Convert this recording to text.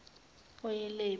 oyilepu